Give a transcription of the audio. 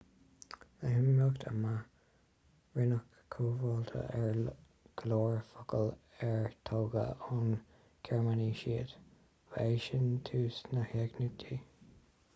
le himeacht ama rinneadh comhtháthú ar go leor focal ar tógadh ón ngearmáinis iad ba é sin tús na heagnaíochta